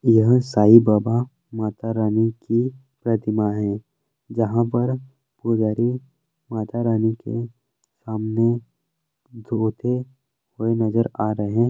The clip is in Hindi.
यह साईं बाबा माता रानी की प्रतिमा है जहाँ पर पुजारी माता रानी के सामने धोते हुए नजर आ रहें --